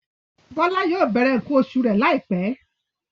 Bọ́lá yóò bẹ̀rẹ̀ nǹkan oṣù rẹ̀ láìpẹ́.